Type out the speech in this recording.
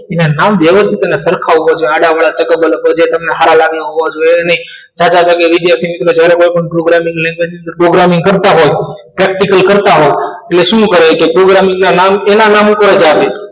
એ નામ સરખા હોવા જ આડાઅવળા સારા લાગે એવા હોવા જોઈએ એવા નહીં વિદ્યાર્થીને કોઈપણ પ્રોગ્રામિંગ ઇંગલિશ કરી દીધું પ્રોગ્રામિંગ કરતા હોય પ્રેક્ટીકલ કરતા હોય એટલે શું કરે કે છોકરાને ના નામ તેના નામ ઉપર આવે